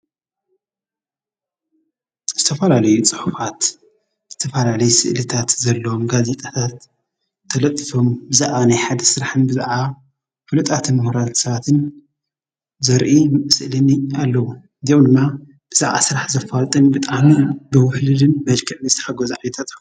ዝተፈላለዩ ጽሑፋት ዝተፈላለዩ ስእልታት ዘለዎም ጋዜጣታት ተለጢፎም ብዛዕባ ናይ ሓደ ሰራሕን ብዛዕባ ፉሉጣትን ሙሁራት ሰባትን ዘርኢ ስእሊ ኣለዉ:: እዚኦም ድማ ብዛዕባ ስራሕ ዘፋልጡን ብጣዕሚ ብዉሕሉሉን መልክዕ ዝተሓገዙ ዓይነታት ጽሑፋት ።